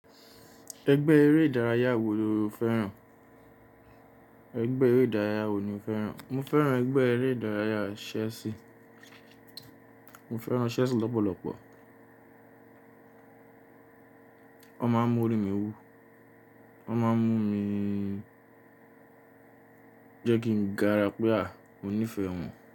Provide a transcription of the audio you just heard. Ẹgbẹ́ eré ìdárayá wo lo fẹ́ràn? Mo fẹ́ràn ẹgbẹ́ eré ìdárayá Chelsea. Mo fẹ́ràn Chelsea lọ́pọ̀lọpọ̀. Wọ́n máa ń mú orí mi wú, wọ́n máa ń mú mi jẹ́ kí ń gara pé a, mo nífẹ̀ẹ́ wọn.